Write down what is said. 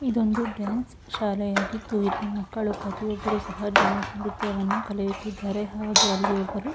ಇದೊಂದು ಡಾನ್ಸ್ ಶಾಲೆಯಾಗಿದ್ದು ಇಲ್ಲಿ ಮಕ್ಕಳು ಪ್ರತಿಯೊಬ್ಬರೂ ಸಹ ಡಾನ್ಸ್ ನೃತ್ಯವನ್ನು ಕಲಿಯುತ್ತಿದ್ದಾರೆ ಹಾಗೆ ಅಲ್ಲಿ ಒಬ್ಬರು--